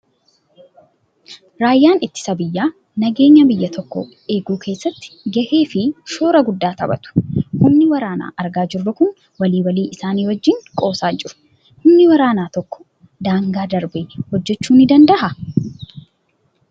Raayyaan ittisa biyyaa nageenya biyya tokkoo eeguu keessatti gahee fi shoora guddaa taphatu. Humni waraanaa argaa jirru kun walii walii isaanii wajjin qoosaa jiru. Humni waraanaa tokko daangaa darbee hojjechuu ni danda'aa?